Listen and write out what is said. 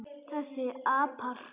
Þessir apar!